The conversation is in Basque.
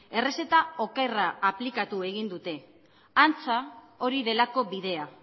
errezeta okerra aplikatu egin dute antza hori delako bidea